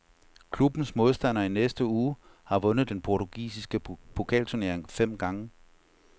Klubbens modstander i næste uge har vundet den portugisiske pokalturnering fem gange.